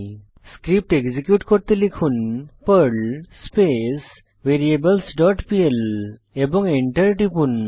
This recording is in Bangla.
স্ক্রিপ্ট এক্সিকিউট করতে লিখুন Perl space variables dot PL এবং এন্টার টিপুন